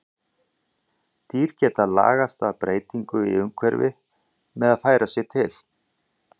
Dýr geta lagast að breytingum í umhverfi með því að færa sig til.